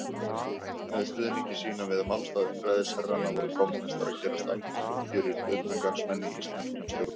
Með stuðningi sínum við málstað einræðisherranna voru kommúnistar að gerast algjörir utangarðsmenn í íslenskum stjórnmálum.